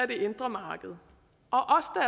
det indre marked